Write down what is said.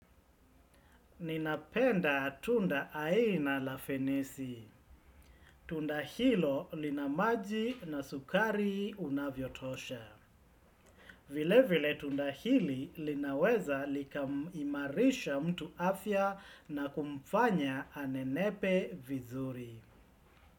Ninapenda tunda aina la fenisi. Tunda hilo linamaji na sukari unavyotosha. Vile vile tunda hili linaweza likamimarisha mtu afya na kumfanya anenepe vizuri.